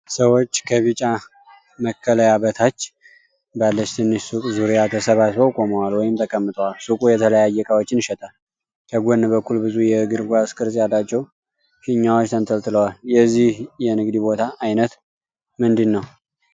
ሰዎች ከቢጫ መከለያ በታች ባለች ትንሽ ሱቅ ዙሪያ ተሰባስበው ቆመዋል ወይም ተቀምጠዋል። ሱቁ የተለያየ እቃዎችን ይሸጣል፣ ከጎን በኩል ብዙ የእግር ኳስ ቅርፅ ያላቸው ፊኛዎች ተንጠልጥለዋል። የዚህ የንግድ ቦታ አይነት ምንድን ነው?